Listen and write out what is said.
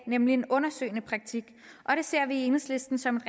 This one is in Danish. nemlig en undersøgende praktik og det ser vi i enhedslisten som